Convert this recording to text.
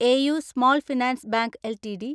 AU small finance bank LTD